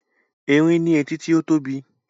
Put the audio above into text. Erin ní etí tí ó tóbi